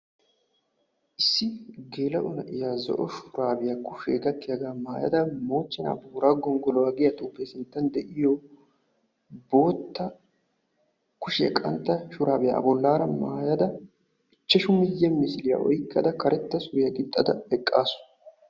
Issi gelao na'iya shurabe kushiya gakkiyaga maayada mochchena boorago gonggoluwaa giya xuufe sinttan diyo bootta kushe qantta shuurabiya a bollara maayada ichchashshu miyiye misiliyaoyqqada karetta suuriyagixada eqqasu.